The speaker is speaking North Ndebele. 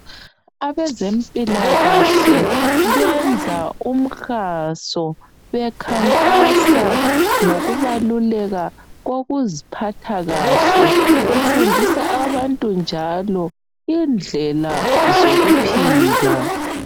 Abezempilakahle benza umhaso bekhankasa ngokubaluleka kokuziphatha kahle befundisa abantu njalo indlela zokuphila.